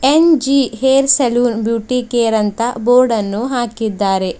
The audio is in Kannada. N G hair salon beauty care ಅಂತ ಬೋರ್ಡನ್ನು ಹಾಕಿದ್ದಾರೆ.